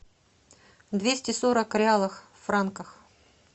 двести сорок реалов в франках